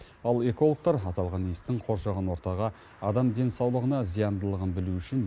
ал экологтар аталған иістің қоршаған ортаға адам денсаулығына зияндылығын білу үшін